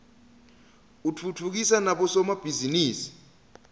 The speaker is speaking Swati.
utfutfukisa nabo somabhizinisi